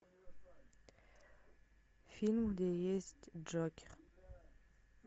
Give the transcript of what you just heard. фильм где есть джокер